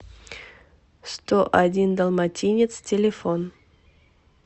сто один далматинец телефон